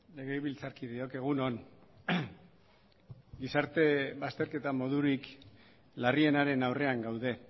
legebiltzarkideok egunon gizarte bazterketa modurik larrienaren aurrean gaude